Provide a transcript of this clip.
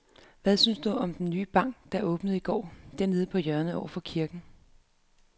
Hvad synes du om den nye bank, der åbnede i går dernede på hjørnet over for kirken?